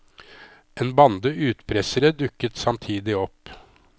En bande utpressere dukket samtidig opp.